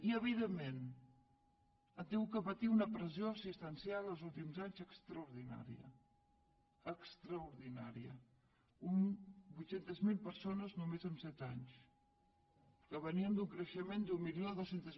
i evidentment he tingut de patir una pressió assistencial els últims anys extraordinària extraordinària vuit cents miler persones només en set anys que veníem d’un creixement d’mil dos cents